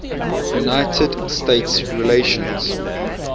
united states relations